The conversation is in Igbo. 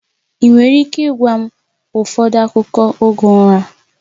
Ị nwere ike ịgwa m ụfọdụ akụkọ oge ụra?